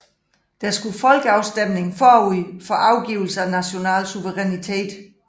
Der skulle folkeafstemning forud for afgivelse af national suverænitet